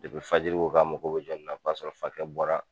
fajiri ko k'a mako jɔnni na, o y'a sɔrɔ fakɛ bɔra